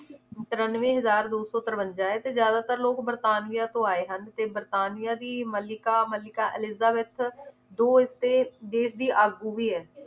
ਤਰੰਨਵੇਂ ਹਜ਼ਾਰ ਦੋ ਸੌ ਤਰਵੰਜਾ ਹੈ ਤੇ ਜ਼ਿਆਦਾਤਰ ਲੋਗ ਵਰਤਾਨੀਆ ਤੋਂ ਆਏ ਹਨ ਤੇ ਵਰਤਾਨੀਆ ਦੀ ਮੱਲਿਕਾ ਮੱਲਿਕਾ ਐਲਿਜ਼ਾਬੇਥ ਦੋ ਇਸਤੇ ਦੇਸ਼ ਦੀ ਆਗੂ ਵੀ ਹੈ